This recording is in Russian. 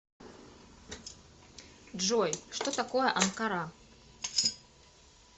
джой что такое анкара